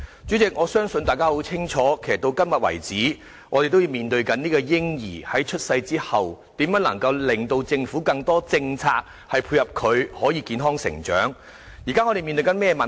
主席，我相信大家也很明白，直到今天，我們仍然面對着如何令政府有更多政策配合，令嬰兒在出生後可以健康成長的議題。